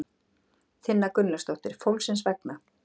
Tinna Gunnlaugsdóttir: Fólksins vegna?